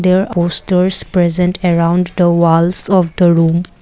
there posters present around the walls of the room.